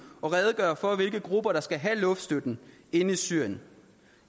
og redegøre for hvilke grupper der skal have luftstøtten inde i syrien